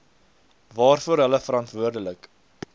waarvoor hulle verantwoordelik